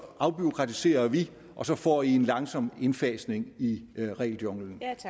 afbureaukratiserer vi og så får i en langsom indfasning i regeljunglen